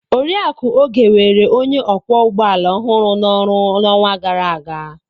Oriakụ Oge were onye ọkwọ ụgbọala ọhụrụ na oru n'ọnwa gara aga.